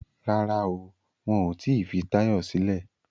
Rárá o, wọn ò tí fi Táyọ̀ sílẹ̀